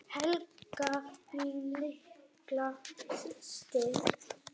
Helga mín litla systir.